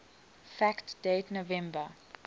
fact date november